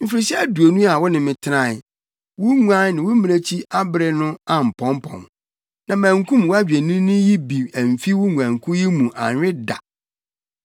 “Mfirihyia aduonu a wo ne me tenae, wo nguan ne wo mmirekyi abere no ampɔmpɔn, na mankum wʼadwennini yi bi amfi wo nguankuw yi mu anwe da.